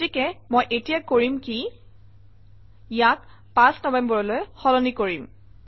গতিকে মই এতিয়া কৰিম কি ইয়াক ৫ নৱেম্বৰলৈ সলনি কৰিম